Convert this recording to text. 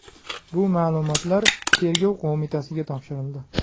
Bu ma’lumotlar Tergov qo‘mitasiga topshirildi.